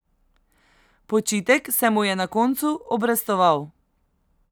Počitek se mu je na koncu obrestoval.